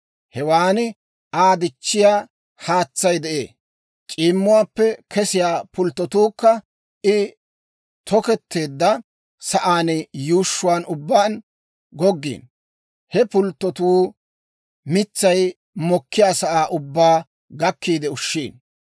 Hewan Aa dichchiyaa haatsay de'ee; c'iimmuwaappe kesiyaa pulttotuukka I toketteedda sa'aan yuushshuwaan ubbaan goggiino; he pulttotuu mitsay mokkiyaasaa ubbaa gakkiide ushshiino.